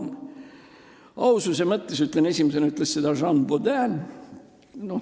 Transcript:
Et aus olla, siis ütlen, et esimesena ütles seda Jean Bodin.